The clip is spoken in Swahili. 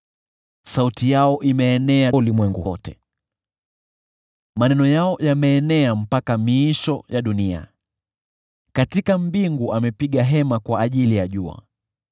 Sauti yao imeenea duniani pote, nayo maneno yao yameenea hadi miisho ya ulimwengu. Katika mbingu amepiga hema kwa ajili ya jua,